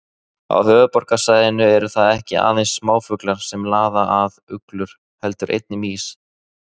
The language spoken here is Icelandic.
Á höfuðborgarsvæðinu eru það ekki aðeins smáfuglar sem laða að uglur heldur einnig mýs.